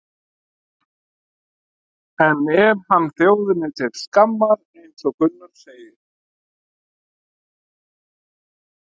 En er hann þjóðinni til skammar eins og Gunnar segir?